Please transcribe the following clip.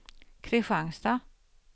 Kristianstad